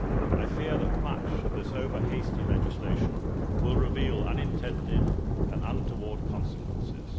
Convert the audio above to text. I fear that much of this over hasty legislation will reveal unintended and untoward consequences.